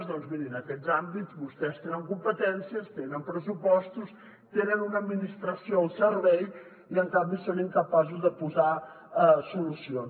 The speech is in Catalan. doncs mirin en aquests àmbits vostès tenen competències tenen pressupostos tenen una administració al servei i en canvi són incapaços de posar solucions